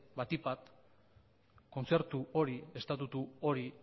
batik bat kontzertu hori estatutu hori